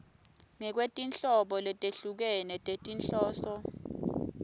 ngekwetinhlobo letehlukene tetinhloso